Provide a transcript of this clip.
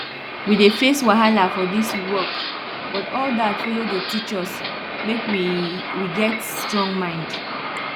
we dey face wahala for dis work but all dat follow dey teach us make we we get strong mind